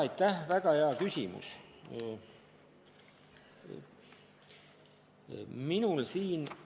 Aitäh, väga hea küsimus!